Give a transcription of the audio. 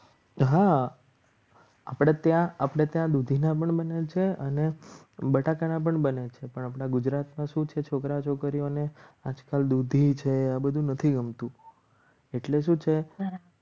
હા આપણે ત્યાં આપણે ત્યાં દુધીના પણ બને છે અને બટાકાના પણ બને છે પણ આપણા ગુજરાતમાં શું છે છોકરા છોકરીઓને આજકાલ દુધી છે આ બધું નથી ગમતું એટલે શું છે.